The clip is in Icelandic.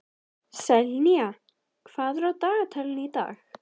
Selina, hvað er á dagatalinu í dag?